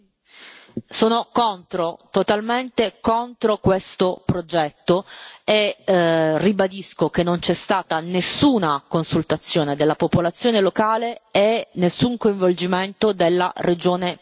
Sono contro, totalmente contro questo progetto e ribadisco che non c'è stata nessuna consultazione della popolazione locale e nessun coinvolgimento della Regione Puglia.